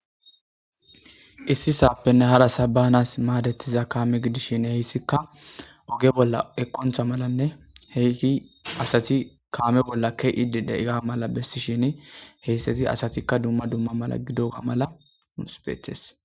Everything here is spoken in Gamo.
issi saappenne hara sabanas maadetiza kaame gidishin heyssikka oge bolla eqoncha malanne heyki asati kaame bolla ke7idi deiga mala bessishin heysseti asatikka dumma dumma mala gido ga mala uusbeethes